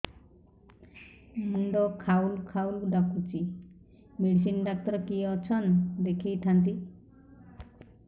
ମୁଣ୍ଡ ଖାଉଲ୍ ଖାଉଲ୍ ଡାକୁଚି ମେଡିସିନ ଡାକ୍ତର କିଏ ଅଛନ୍ ଦେଖେଇ ଥାନ୍ତି